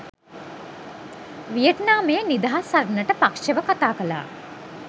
වියට්නාමයේ නිදහස් සටනට පක්ෂව කතා කළා